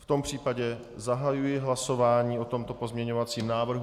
V tom případě zahajuji hlasování o tomto pozměňovacím návrhu.